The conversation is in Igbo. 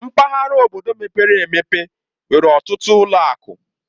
Mpaghara obodo mepere emepe nwere ọtụtụ ụlọ akụ.